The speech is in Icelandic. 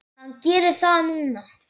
Hann gerir það núna.